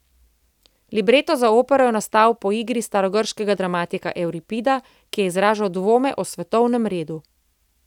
Libreto za opero je nastal po igri starogrškega dramatika Evripida, ki je izražal dvome o svetovnem redu.